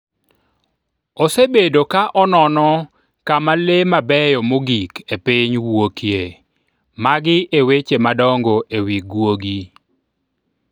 Osebedo ka onono kama le mabeyo mogik e piny wuokie. Magi e weche madongo e wi guogi.